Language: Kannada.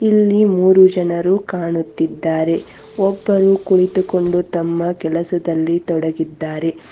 ಇಲ್ಲಿ ಮೂರು ಜನರು ಕಾಣುತ್ತಿದ್ದಾರೆ ಒಬ್ಬರು ಕುಳಿತುಕೊಂಡು ತಮ್ಮ ಕೆಲಸದಲ್ಲಿ ತೊಡಗಿದ್ದಾರೆ.